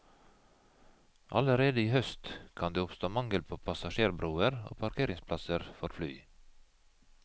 Allerede i høst kan det oppstå mangel på passasjerbroer og parkeringsplasser for fly.